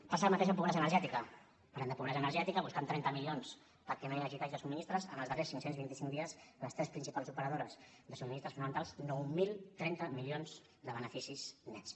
passa el mateix amb la pobresa energètica parlem de pobresa energètica busquem trenta milions perquè no hi hagi talls de subministraments en els darrers cinc cents i vint cinc dies les tres principals operadores de subministraments fonamentals nou mil trenta milions de beneficis nets